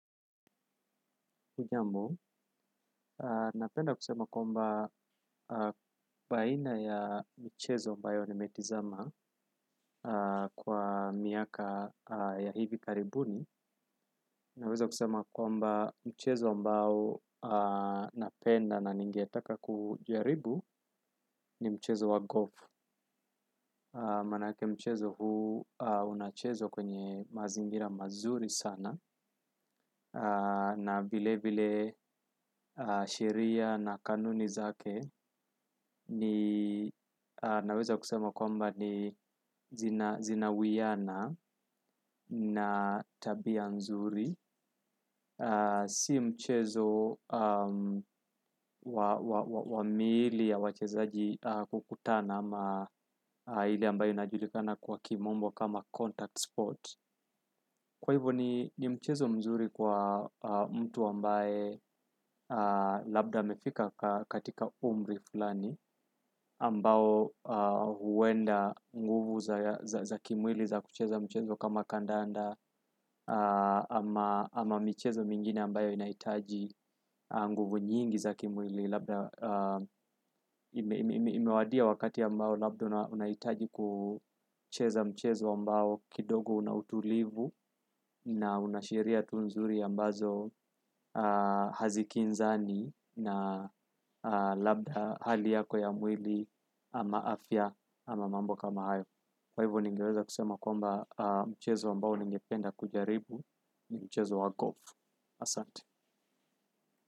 Hujambo, napenda kusema kwamba baina ya michezo ambayo nimetizama kwa miaka ya hivi karibuni. Naweza kusema kwamba mchezo ambao napenda na ningetaka kujaribu ni mchezo wa golf. Maanake mchezo huu unachezwa kwenye mazingira mazuri sana na vile vile sheria na kanuni zake ni naweza kusema kwamba ni zinawiana na tabia nzuri. Si mchezo wa miili ya wachezaji kukutana ama ile ambayo inajulikana kwa kimombo kama contact spot kwa hivo ni mchezo mzuri kwa mtu ambaye labda amefika katika umri fulani ambao huenda nguvu za kimwili za kucheza mchezo kama kandanda ama michezo mingine ambayo inahitaji nguvu nyingi za kimwili labda imewadia wakati ambao labda unahitaji kucheza michezo ambao kidogo una utulivu na una sheria tu nzuri ambazo hazikinzani na labda hali yako ya mwili ama afya ama mambo kama hayo kwa hivyo ningeweza kusema kwamba mchezo ambao ningependa kujaribu ni mchezo wa golf Asante.